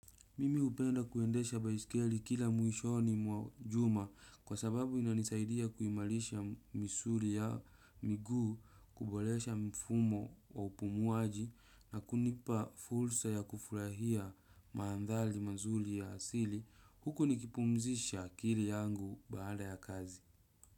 Mimi hupenda kuendesha baisikeli kila mwishoni mwa juma kwa sababu inanisaidia kuimarisha misuri ya miguu kuboresha mfumo wa upumuaji na kunipa fursa ya kufurahia manthari mazuri ya asili huku nikipumzisha akilii yangu baada ya kazi.